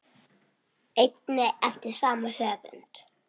einnig eftir sama höfund.